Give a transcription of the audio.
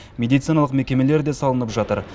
медициналық мекемелер де салынып жатыр